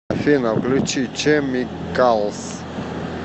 афина включи чемикалс